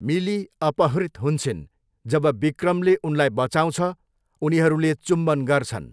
मिली अपहृत हुन्छिन्, जब विक्रमले उनलाई बचाँउछ, उनीहरूले चुम्बन गर्छन्।